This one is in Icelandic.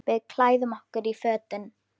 Við klæðum okkur í fötin.